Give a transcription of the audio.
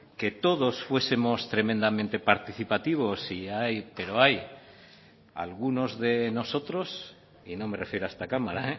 que todos fuesemos tremendamente participativos si hay pero hay algunos de nosotros y no me refiero a esta cámara